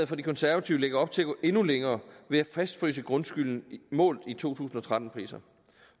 fra de konservative lægger op til at gå endnu længere ved at fastfryse grundskylden målt i to tusind og tretten priser